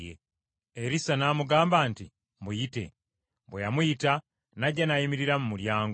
Erisa n’amugamba nti, “Muyite.” Bwe yamuyita, n’ajja n’ayimirira mu mulyango.